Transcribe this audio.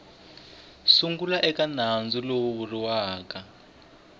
sungula eka nandzu lowu vuriweke